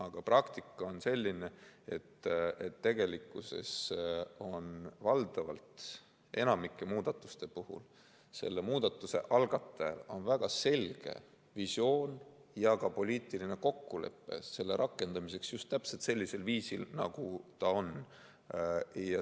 Aga praktika on selline, et tegelikkuses on enamiku muudatuste puhul muudatuse algatajal väga selge visioon ja on ka poliitiline kokkulepe selle rakendamiseks just täpselt sellisel viisil, nagu ta on.